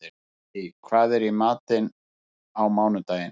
Bassí, hvað er í matinn á mánudaginn?